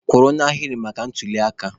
Kwụrụ n'ahịrị maka ntuliaka!